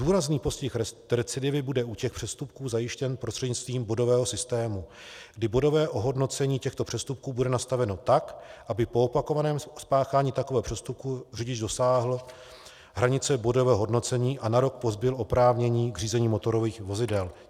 Důrazný postih recidivy bude u těch přestupků zajištěn prostřednictvím bodového systému, kdy bodové ohodnocení těchto přestupků bude nastaveno tak, aby po opakovaném spáchání takového přestupku řidič dosáhl hranice bodového hodnocení a na rok pozbyl oprávnění k řízení motorových vozidel.